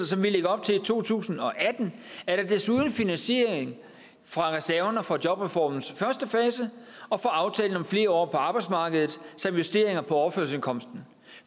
som vi lægger op til i to tusind og atten er der desuden finansiering fra reserverne fra jobreformens første fase og fra aftalen om flere år på arbejdsmarkedet samt justeringer på overførselsindkomsterne